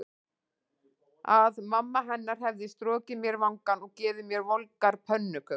Að mamma hennar hefði strokið mér vangann og gefið mér volgar pönnukökur.